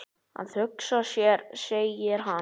Að hugsa sér segir hann.